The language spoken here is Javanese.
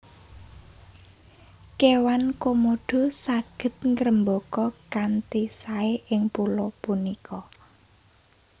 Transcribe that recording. Kéwan Komodo saged ngrembaka kanthi saé ing pulo punika